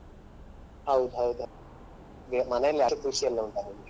ಹೌದ್ ಹೌದ್ ಅದೆ ಮನೇಲಿ ಅಡಿಕೆ ಕೃಷಿ ಎಲ್ಲ ಉಂಟ ನಿಮ್ಗೆ?